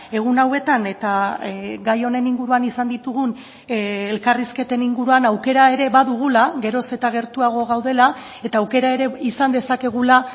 egun hauetan eta gai honen inguruan izan ditugun elkarrizketen inguruan aukera ere badugula geroz eta gertuago gaudela eta aukera ere izan dezakegula